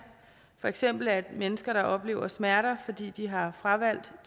for eksempel er mennesker der oplever smerter fordi de har fravalgt